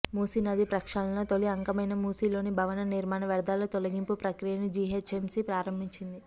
మూసి నది ప్రక్షాళనలో తొలి అంకమైన మూసి లోని భవన నిర్మాణ వ్యర్థాల తొలగింపు ప్రక్రియను జీహెచ్ఎంసీ ప్రారంభించింది